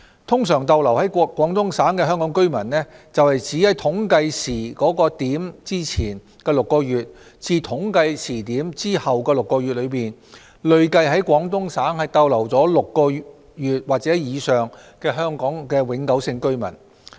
"通常逗留在廣東省的香港居民"是指在統計時點前的6個月至統計時點後的6個月內，累計在廣東省逗留6個月及以上的香港永久性居民。